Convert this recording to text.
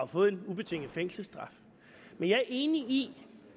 fået en ubetinget fængselsstraf men jeg er enig i